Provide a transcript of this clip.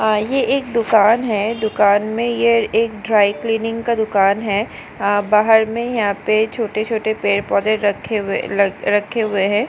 यह एक दुकान है दुकान में यह एक ड्राई क्लीनिंग का दुकान है बाहर में यहाँ पे छोटे-छोटे पेड़ पौधे रखे हुए रखे हुए हैं।